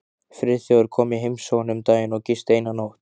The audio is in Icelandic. Friðþjófur kom í heimsókn um daginn og gisti eina nótt.